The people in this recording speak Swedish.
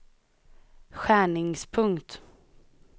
skärningspunkt